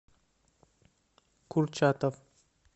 курчатов